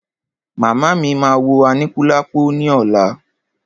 Màmá mí máa wo Aníkúlápò ní ọ̀la.